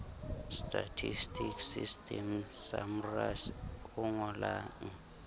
statistical system samrass o ngolang